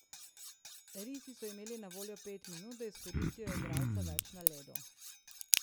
Risi so imeli na voljo pet minut, da izkoristijo igralca več na ledu.